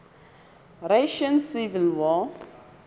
russian civil war